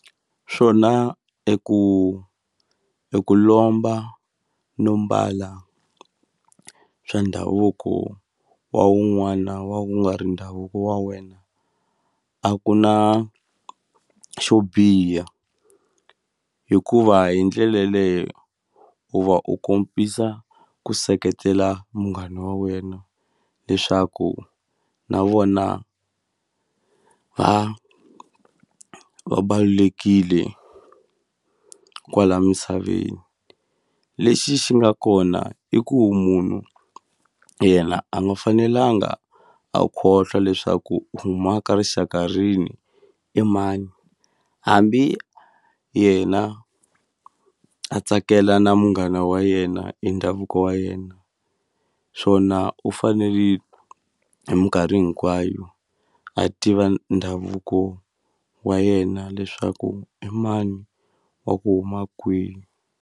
Swona i ku i ku lomba no mbala swa ndhavuko wa wun'wana wa ku nga ri ndhavuko wa wena a ku na xo biha hikuva hi ndlela yaleyo u va u kombisa ku seketela munghana wa wena leswaku na vona va va balulekile kwala misaveni lexi xi nga kona i ku munhu yena a nga fanelanga a khohlwa leswaku huma ka rixaka rini i mani hambi yena a tsakela na munghana wa yena e ndhavuko wa yena swona u fanele hi mikarhi hinkwayo a tiva ndhavuko wa yena leswaku i mani wa ku huma .